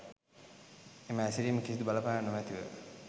එම හැසිරිම කිසිදු බලපෑමක් නොමැතිව